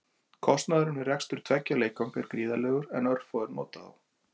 Kostnaðurinn við rekstur tveggja leikvanga er gríðarlegur en örfáir nota þá.